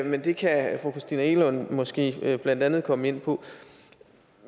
men det kan fru christina egelund måske blandt andet komme ind på